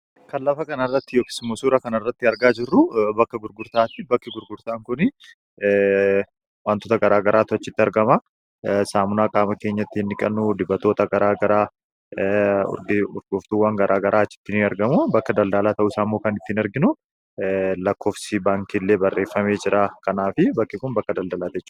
kan lafa kan arratti yokis musuura kan arratti argaa jirru bakka gurgurtaatti bakki gurgurtaan kun wantoota garaa garaa tuachitti argama saamun aqaama keenyatti inniqannuu dibaggurgoftuuwwan garaa garaa chipini argamu bakka daldaalaa ta'uu saamoo kan ittiin arginu lakkoofsi baankiillee barreeffamee jira kanaaf bakke kun bakka daldaalaatea